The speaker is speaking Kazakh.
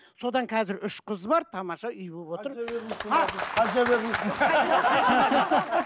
содан қазір үш қыз бар тамаша үй болып отыр